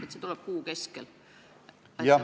Kas see tuleb kuu keskel?